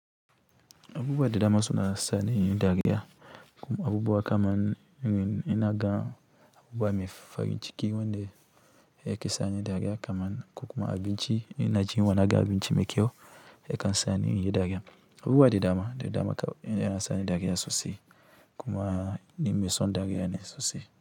Abubuwa da dama suna sani dariya, abubuwa kaman inaga abubuwa me farinciki kaman, ko kuma abinci in ina jin yunwa naga abinci me kyau ya kan sani inyi dqris abubuwa de dama de dama yana sane dare sosai kuma ni me son dariya ne sosai.